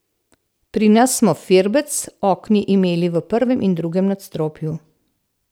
Pri nas smo firbec okni imeli v prvem in drugem nadstropju.